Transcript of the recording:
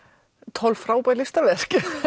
tólf frábær listaverk